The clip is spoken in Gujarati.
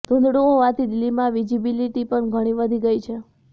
ધૂંધળું હોવાથી દિલ્હીમાં વિજિબિલિટી પણ ઘણી વધી ગઈ છે